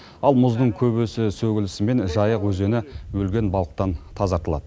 ал мұздың көбесі сөгілісімен жайық өзені өлген балықтан тазартылады